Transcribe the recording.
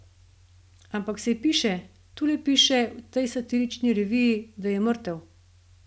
Ampak saj piše, tule piše, v tej satirični reviji, da je mrtev.